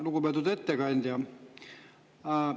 Lugupeetud ettekandja!